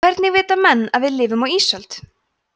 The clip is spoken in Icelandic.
hvernig vita menn að við lifum á ísöld